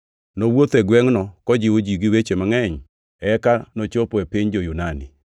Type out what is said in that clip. Nowuotho e gwengʼno kojiwo ji gi weche mangʼeny, eka nochopo e piny jo-Yunani,